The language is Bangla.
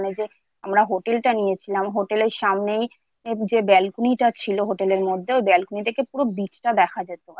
ওখানে যে আমরা Hotel টা নিয়েছিলাম Hotel সামনেই যে ব্যালকনিটা ছিল Hotel মধ্যে ব্যালকনি থেকে পুরো বিষয়টা দেখা যেত।